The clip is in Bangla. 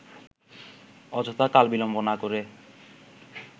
অযথা কাল-বিলম্ব না করে